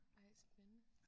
Ej spændende